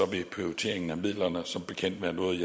vil prioriteringen af midlerne som bekendt være noget